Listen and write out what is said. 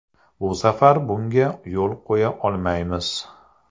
Bu safar bunga yo‘l qo‘ya olmaymiz.